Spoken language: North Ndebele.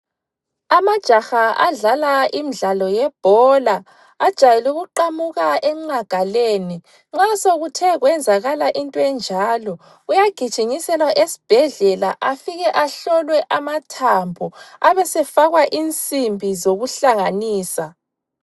Amajaha adlala imdlalo yebhola ajayele ukuqamuka enqagaleni. Nxa sekuthe kwenzakala into enjalo uyagijinyiselwa esibhedlela afike ahlolwe amathambo abesefakwa insimbi zokuhlanganisa.